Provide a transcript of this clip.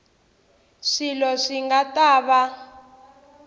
swilo swi nga ta va